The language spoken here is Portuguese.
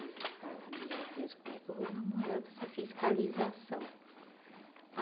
Aí eu falava, meu Deus, como é que eu vou namorar com essa fiscalização?